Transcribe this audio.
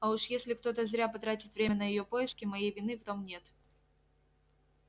а уж если кто-то зря потратит время на её поиски моей вины в том нет